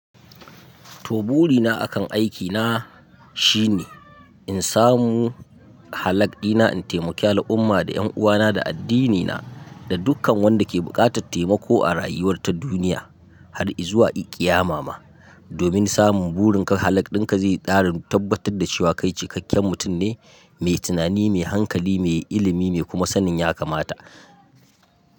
To buri na akan aiki na, shine in samu halak ɗina, in taimaki al'umma da ƴan uwana da addinina, da dukkan wanda ke buƙatar taimako a rayuwar ta duniya, har i zuwa i, ƙiyama ma. Domin samun burin ka halak ɗin ka zai ƙara tabbatar da cewa kai cikakken mutum ne, mai tunani, mai hankali, mai ilimi, mai kuma sanin ya kamata.